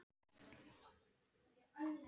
Síðan leit hann á hópinn.